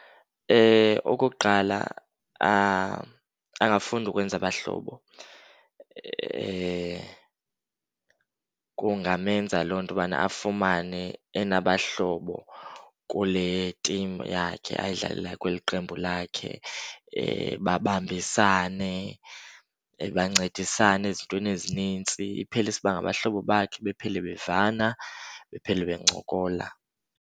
Okokuqala, angafunda ukwenza abahlobo. Kungamenza loo nto ubana afumane enabahlobo kule timu yakhe ayidlalelayo, kweli qembu lakhe, babambisane bancedisane ezintweni ezinintsi. Iphele isiba ngabahlobo bakhe, baphele bevana, baphele bencokola.